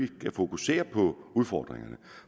kan fokusere på udfordringerne